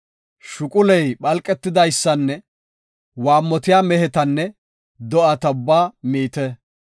Shuquley phalqetidaysanne waammotiya mehetanne do7ata ubbaa miite.